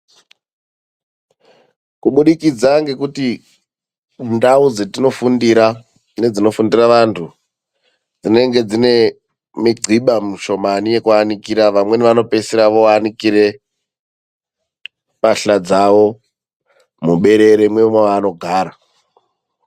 Kubudikidza ngekuti ndau dzatinofundira nedzetino fundira dzinenge dzisina migiba yakawanda yekunaikira mbahla. Vamweni vanopedzisira vonanikire mbahla dzavo muberere memavanogara.